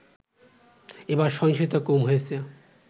এবার সহিংসতা কম হয়েছে